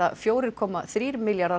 fjögurra komma þrjá milljarða